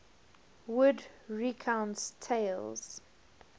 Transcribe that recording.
wood recounts tales